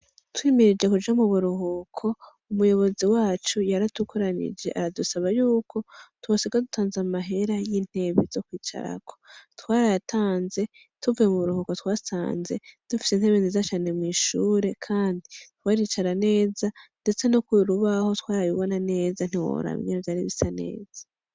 Twimirije kuja mu buruhuko ,umuyobozi wacu yaradukoranije aradusaba yuko twosiga dutanze amahera y'intebe zo kwicarako twarayatanze tuvuye mu buruhuko twasanze dufise intebe nziza cane mw'ishure kandi twaricara neza ndetse no kurubaho twarabibona neza ntiworaba ingene vyari bisa neza.